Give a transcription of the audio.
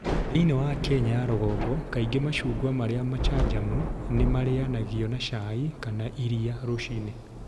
Thĩinĩ wa Kenya ya rũgongo, kaingĩ macungwa marĩa macanjamũ nĩ marĩagagio na cai kana iria rũcinĩ.